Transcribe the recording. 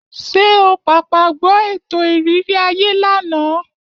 Ṣé o pàpà gbọ́ ètò ìrírí ayé lánàá?